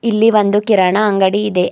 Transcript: ಇಲ್ಲಿ ಒಂದು ಕಿರಾಣ ಅಂಗಡಿ ಇದೆ.